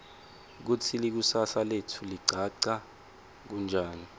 kutsi likusasa letfu ligacha kanjani